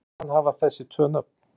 Hví skyldi hann hafa þessi tvö nöfn?